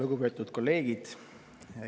Lugupeetud kolleegid!